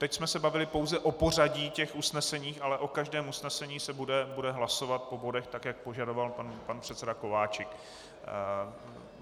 Teď jsme se bavili pouze o pořadí těch usnesení, ale o každém usnesení se bude hlasovat po bodech, tak jak požadoval pan předseda Kováčik.